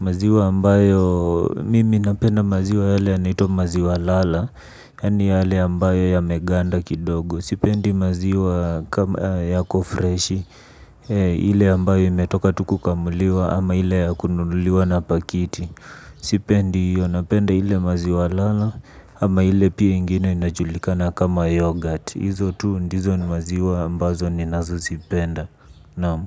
Maziwa ambayo mimi napenda maziwa yale yanaitwa maziwa lala. Yani yale ambayo yameganda kidogo. Sipendi maziwa kama yako freshi. Ile ambayo imetoka tu kukamuliwa ama ile ya kununuliwa na pakiti sipendi iyo napenda ile maziwa lala. Ama ile pia ingine inajulikana kama yoghurt. Izo tu ndizo ni maziwa ambazo ninazopenda, naam.